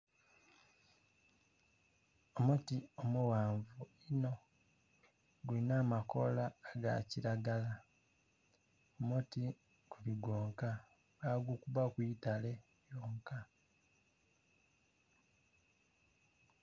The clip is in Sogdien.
Omuti omughanvu inho gulinha amakoola aga kilagala omuti guli gwonka, bagukubaku itale yonka.